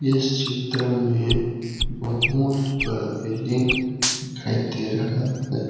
इस चित्र में बहुत बड़ा बिल्डिंग दिखाई दे रहा हैं।